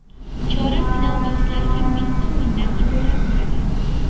Chorak final bahslari ham bitta o‘yindan iborat bo‘ladi.